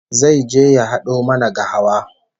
Zai je ya hado mana gahawa